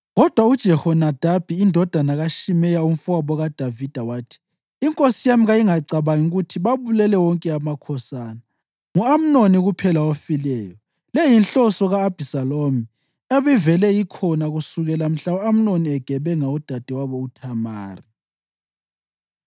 Kodwa uJehonadabi indodana kaShimeya, umfowabo kaDavida, wathi, “Inkosi yami kayingacabangi ukuthi babulele wonke amakhosana, ngu-Amnoni kuphela ofileyo. Le yinhloso ka-Abhisalomu ebivele ikhona kusukela mhla u-Amnoni egebenga udadewabo uThamari.